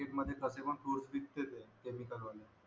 market मद्ये fruits बिक तेच आहेत केमिकल वाले